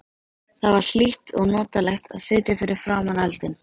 Það var hlýtt og notalegt að sitja fyrir framan eldinn.